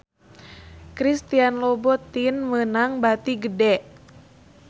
Christian Louboutin meunang bati gede